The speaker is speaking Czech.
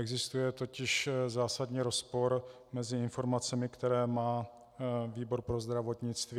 Existuje totiž zásadní rozpor mezi informacemi, které má výbor pro zdravotnictví.